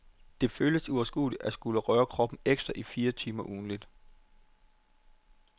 Det føles uoverskueligt at skulle røre kroppen ekstra i fire timer ugentligt.